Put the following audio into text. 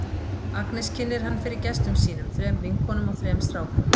Agnes kynnir hann fyrir gestum sínum, þrem vinkonum og þrem strákum.